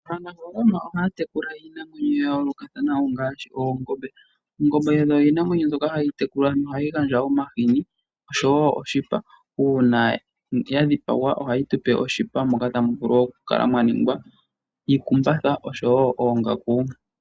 Aanafalama ohaatekula iinamwenyo yayoolokathana ngaashi oongombe. Oongombe odho iinamwenyo mbyoka hayitekulwa nohayi gandja omahiini osho woo oshipa. Uuna dhadhipagwa ohayi tupe oshipa moka tamuvulu okukala mwaningwa iikumbatha osho woo oongaku.